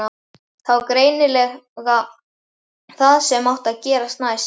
Það var greinilega það sem átti að gerast næst.